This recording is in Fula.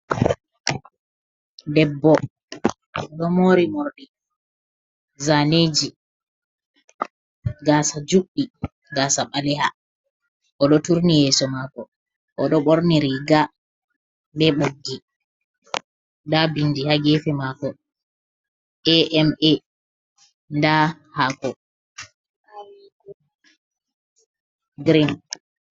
Debbo ɗo mori morɗi zaneji gasa juɗɗi gasa ɓaleha, o ɗo turni yeso mako, o ɗo ɓorni riga be ɓoggi nda bindi ha gefe mako ama, nda hako green.